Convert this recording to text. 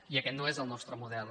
i aquest no és el nostre model